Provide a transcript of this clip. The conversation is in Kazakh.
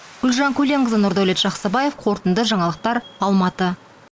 гүлжан көленқызы нұрдәулет жақсыбаев қорытынды жаңалықтар алматы